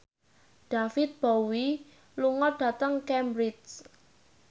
David Bowie lunga dhateng Cambridge